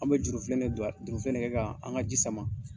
An be jurufilen de don a, jurufilen de kɛ ka an ka ji sama.